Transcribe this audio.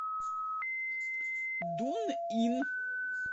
дунъин